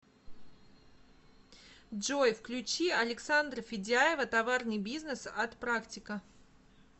джой включи александра федяева товарный бизнес от практика